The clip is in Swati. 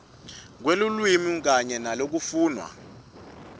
kwelulwimi kanye nalokufunwa